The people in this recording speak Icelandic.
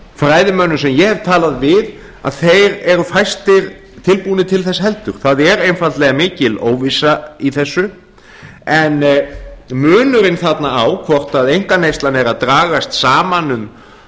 fræðimönnum sem ég hef talað við að þeir eru fæstir tilbúnir til þess heldur það er einfaldlega mikil óvissa í þessu en munurinn þarna á hvort einkaneyslan er að dragast saman um